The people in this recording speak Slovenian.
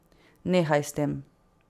Nehaj s tem.